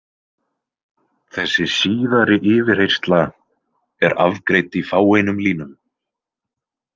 Þessi síðari yfirheyrsla er afgreidd í fáeinum línum.